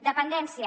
dependència